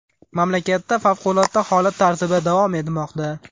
Mamlakatda favqulodda holat tartibi davom etmoqda.